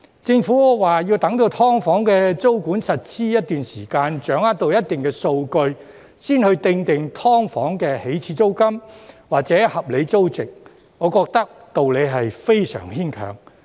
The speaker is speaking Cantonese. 政府說要待"劏房"的租管實施一段時間，掌握到一定數據，才訂定"劏房"的起始租金或合理租值，我覺得道理是非常牽強。